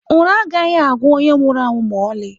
Ụra agaghị agwụ onye nwụrụ anwụ ma ọlị.